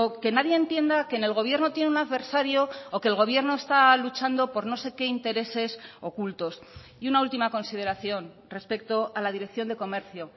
que nadie entienda que en el gobierno tiene un adversario o que el gobierno está luchando por no sé qué intereses ocultos y una última consideración respecto a la dirección de comercio